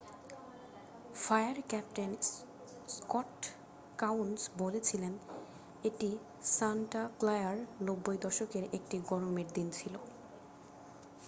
"""Fire captain Scott Kouns বলেছিলেন """এটি Santa ক্লারার 90 দশকের একটি গরমের দিন ছিল """।""